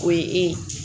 O ye e